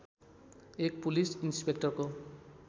एक पुलिस इन्सपेक्टरको